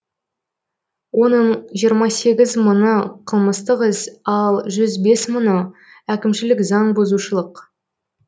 оның жиырма сегі мыңы қылмыстық іс ал жүз бес мыңы әкімшілік заң бұзушылық